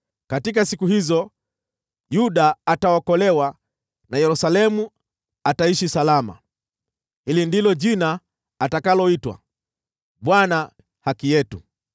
Katika siku hizo, Yuda ataokolewa na Yerusalemu ataishi salama. Hili ndilo jina atakaloitwa: Bwana Haki Yetu.’